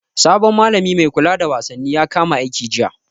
Sabon malami mai kula da wasanni ya kama aiki jiya.